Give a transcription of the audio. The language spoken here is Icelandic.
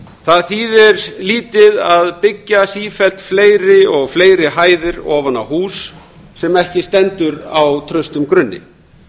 það þýðir lítið að byggja sífellt og sífellt fleiri og hæðir ofan á hús sem ekki stendur á traustum grunni